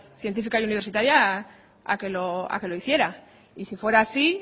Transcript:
científica y universitaria a que lo hiciera y si fuera así